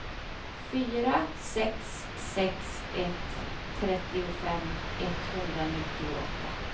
fyra sex sex ett trettiofem etthundranittioåtta